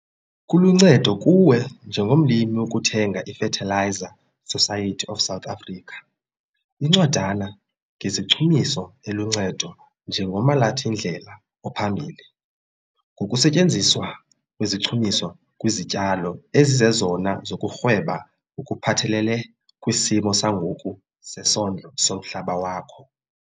Kuluncedo kuwe njengomlimi ukuthenga i-Fertiliser Society of South Africa - Incwadana ngezichumiso eluncedo njengomalathindlela ophambili ngokusetyenziswa kwezichumiso kwizityalo ezizezona zokurhweba ngokuphathelele kwisimo sangoku sezondlo zomhlaba wakho.